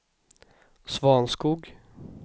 Svanskog